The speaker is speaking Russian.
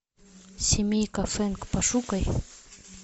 семейка фэнг пошукай